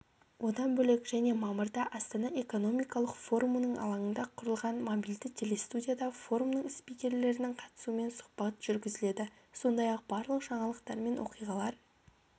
одан бөлек және мамырда астана экономикалық форумының алаңында құрылған мобильді телестудияда форумның спикерлерінің қатысуымен сұхбат жүргізіледі сондай-ақ барлық жаңалықтар мен оқиғалар